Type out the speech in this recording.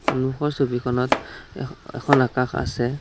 সন্মুখৰ ছবিখনত এখ এখন আকাশ আছে।